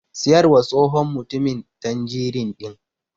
Siyarwa tsohon mutumin tanjirin ɗin.